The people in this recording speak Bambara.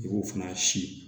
I b'o fana si